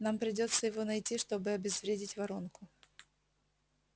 нам придётся его найти чтобы обезвредить воронку